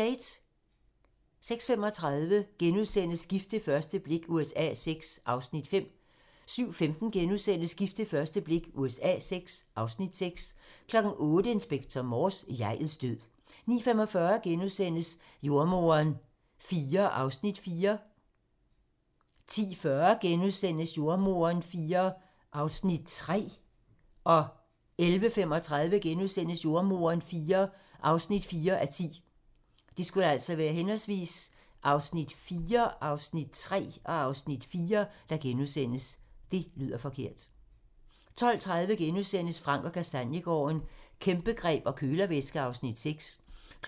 06:35: Gift ved første blik USA VI (Afs. 5)* 07:15: Gift ved første blik USA VI (Afs. 6)* 08:00: Inspector Morse: Jeg'ets død 09:45: Jordemoderen IV (4:10)* 10:40: Jordemoderen IV (3:10)* 11:35: Jordemoderen IV (4:10)* 12:30: Frank & Kastaniegaarden - Kæmpegreb og kølervæske (Afs. 6)*